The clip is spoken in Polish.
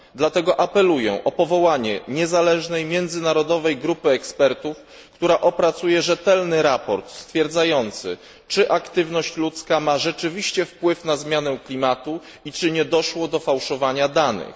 Dlatego apeluję o powołanie niezależnej międzynarodowej grupy ekspertów, która opracuje rzetelny raport stwierdzający czy aktywność ludzka ma rzeczywiście wpływ na zmianę klimatu i czy nie doszło do fałszowania danych.